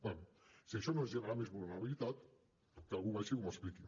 bé si això no és generar més vulnerabilitat que algú baixi i m’ho expliqui